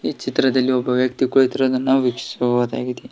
ಚಿತ್ರದಲ್ಲಿ ಒಬ್ಬ ವ್ಯಕ್ತಿ ಕುಳಿತಿರುವುದನ್ನು ನಾವು ವೀಕ್ಷಿಸಬಹುದಾಗಿದೆ.